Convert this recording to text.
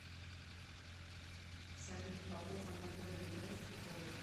салют попов анатолий играет в футбол